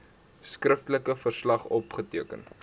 skriftelike verslag opgeteken